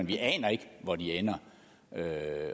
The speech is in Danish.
vi aner ikke hvor de ender